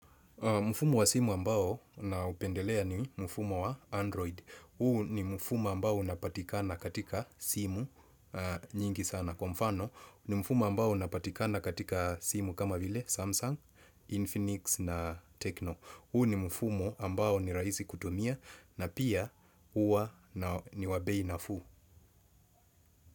Mfumo wa simu ambao naupendelea ni mfumo wa Android. Huu ni mfumo ambao unapatikana katika simu nyingi sana. Kwa mfano, ni mfumo ambao unapatikana katika simu kama vile, Samsung, Infinix na Tecno. Huu ni mfumo ambao ni rahisi kutumia na pia huwa ni wabei nafuu.